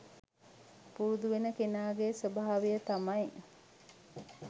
පුරුදු වෙන කෙනාගේ ස්වභාවය තමයි